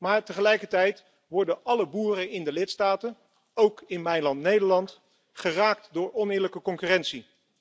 Maar tegelijkertijd worden alle boeren in de lidstaten, ook in Nederland, geraakt door oneerlijke concurrentie.